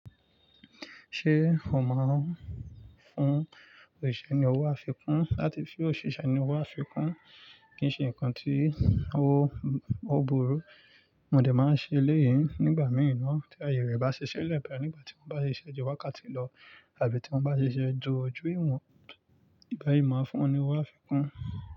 Ṣé o máa ń fún òṣìṣẹ́ ní owó àfikún láti fun òṣìṣẹ́ ní owó àfikún? Kì í nṣe nǹkan tí ó burú, mo òde máa ń ṣe eléyìí nígbà mìí na tí aye rẹ̀ bá ṣi ṣile boya, nígbà tí wọ́n bá ṣiṣẹ́ ju wákàtí lọ àbí tí wọ́n bá ṣiṣẹ́ ju oju ìwọ̀n ìgba yii máa fún wọn ní owó àfikún.